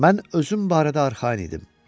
Mən özüm barədə arxayın idim.